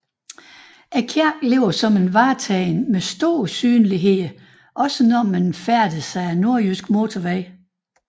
Kirken ligger som et vartegn med stor synlighed også når man færdes ad Nordjyske Motorvej